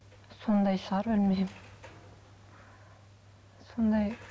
сондай шығар білмеймін сондай